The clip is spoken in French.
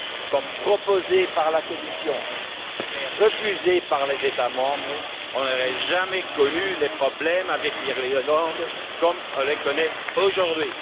comme proposé par la Commission mais refusé par les États membres, on n'aurait jamais connu les problèmes avec l'Irlande comme on les connaît aujourd'hui.